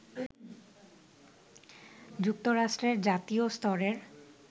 যুক্তরাষ্ট্রের জাতীয় স্তরের